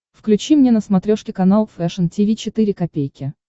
включи мне на смотрешке канал фэшн ти ви четыре ка